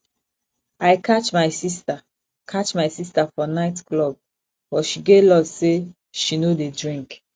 i catch my sister catch my sister for night club but she get luck say she no dey drink